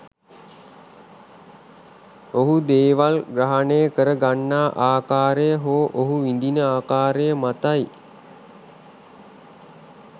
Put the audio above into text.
ඔහු දේවල් ග්‍රහණය කර ගන්නා ආකාරය හෝ ඔහු විඳින ආකාරය මතයි.